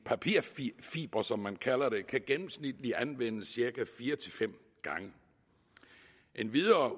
papirfibre som man kalder det kan gennemsnitligt anvendes cirka fire fem gange endvidere